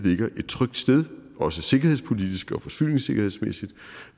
ligger et trygt sted også sikkerhedspolitisk og forsyningssikkerhedsmæssigt